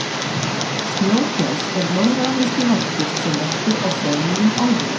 snjógæs er norðuramerískur varpfugl sem verpir á freðmýrum álfunnar